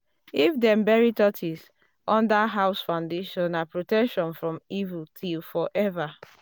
if dem bury tortoise under house foundation na protection from evil till forever.